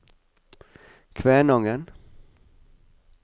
Kvænangen